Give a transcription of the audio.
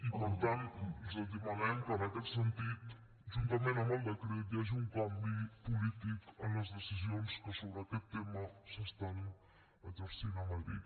i per tant els demanem que en aquest sentit juntament amb el decret hi hagi un canvi polític en les decisions que sobre aquest tema s’estan exercint a madrid